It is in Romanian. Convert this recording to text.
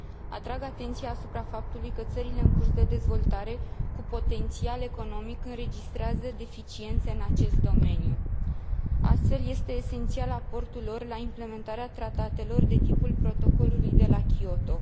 Atrag atenția asupra faptului că țările în curs de dezvoltare, cu potențial economic, înregistrează deficiențe în acest domeniu. Astfel, este esențial aportul lor la implementarea tratatelor de tipul Protocolului de la Kyoto.